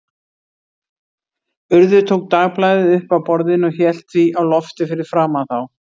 Urður tók dagblaðið upp af borðinu og hélt því á lofti fyrir framan þá.